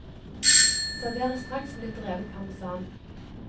Serveres straks med litt revet parmesan.